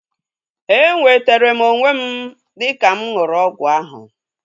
E nwetere m onwe m dịka mụ ṅụrụ ọgwụ ahu